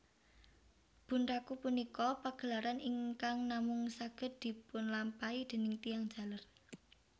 Bunraku punika pagelaran ingkang namung saged dipunlampahi déning tiyang jaler